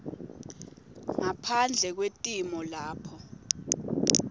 ngaphandle kwetimo lapho